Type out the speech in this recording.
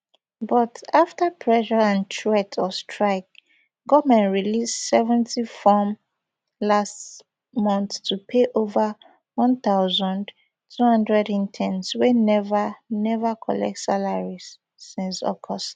but afta pressure and threats of strikes goment release seventy-fourm last month to pay ova one thousand, two hundred interns wey neva neva collect salaries since august